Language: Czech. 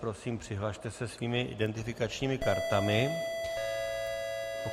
Prosím, přihlaste se svými identifikačními kartami.